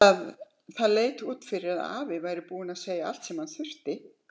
Það leit ekki út fyrir að afi væri búinn að segja allt sem hann þurfti.